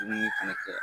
Dumuni fɛnɛ kɛ